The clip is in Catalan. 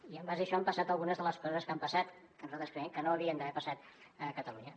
i en base a això han passat algunes de les coses que han passat que nosaltres creiem que no havien d’haver passat a catalunya